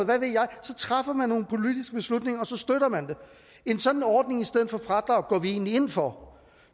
hvad ved jeg så træffer man nogle politiske beslutninger og så støtter man det en sådan ordning i stedet for fradrag går vi egentlig ind for